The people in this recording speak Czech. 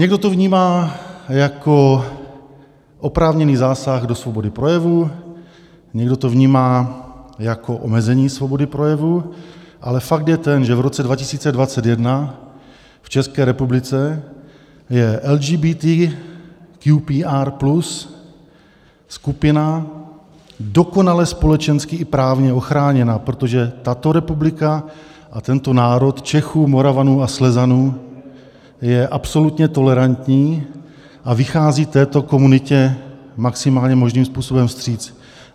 Někdo to vnímá jako oprávněný zásah do svobody projevu, někdo to vnímá jako omezení svobody projevu, ale fakt je ten, že v roce 2021 v České republice je LGBTQPR+ skupina dokonale společensky i právně ochráněna, protože tato republika a tento národ Čechů, Moravanů a Slezanů je absolutně tolerantní a vychází této komunitě maximálně možným způsobem vstříc.